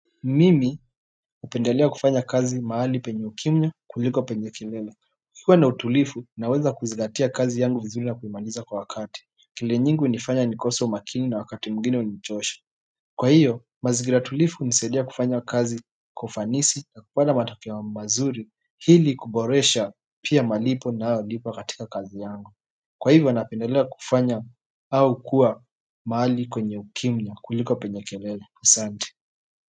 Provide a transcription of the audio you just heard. Mimi hupendelea kufanya kazi mahali penye ukimya kuliko penye kelele kukiwa na utulivu naweza kuzingatia kazi yangu vizuri na kuimaliza kwa wakati kelele nyingi hunifanya nikose umakini na wakati mwingine hunichosha kwa hivyo mazingira tulivu hunisaidia kufanya kazi kwa ufanisi na kupata matokeo mazuri ili kuboresha pia malipo ninayolipwa katika kazi yangu kwa hivyo napendelea kufanya au kuwa mahali kwenye ukimya kuliko penye kelele asante.